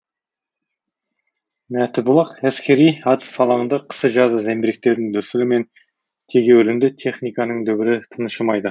мәтібұлақ әскери атыс алаңында қысы жазы зеңбіректердің дүрсілі мен тегеурінді техниканың дүбірі тыншымайды